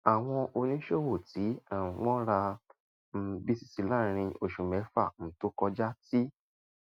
àwọn oníṣòwò tí um wọn ra um cs] btc láàárín oṣù mẹfà um tó kọjá ti